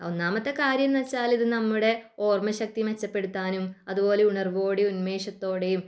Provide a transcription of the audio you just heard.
ഒന്നാമത്തെ കാര്യം എന്ന് വച്ചാല് നമ്മുടെ ഓർമ്മ ശക്തി മെച്ചപ്പെടുത്താനും അതുപോലെ ഉണർവ്വോടെയും ഉന്മേഷത്തോടെയും